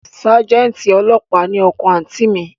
Sájẹ́ǹtì ọlọ́pàá ni ọkọ àǹtí i mi